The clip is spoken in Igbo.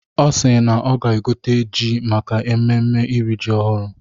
Ọ si na ọ ga-egote ji maka mmemme iri ji ọhụrụ.